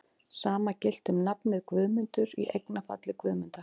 Sama gilti um nafnið Guðmundur, í eignarfalli Guðmundar.